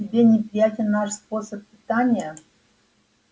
тебе неприятен наш способ питания